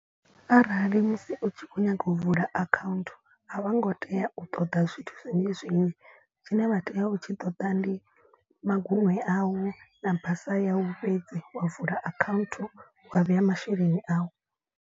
Arali musi u tshi kho nyaga u vula account a vho ngo tea u ṱoḓa zwithu zwinzhi zwinzhi. Tshine vha tea u tshi ṱoḓa ndi magunwe au na basa yau fhedzi wa vula account wa vheya masheleni au.